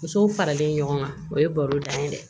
Musow faralen ɲɔgɔn kan o ye baro da ye dɛ